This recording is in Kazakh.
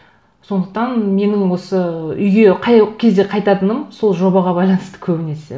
сондықтан менің осы үйге қай кезде қайтатыным сол жобаға байланысты көбінесе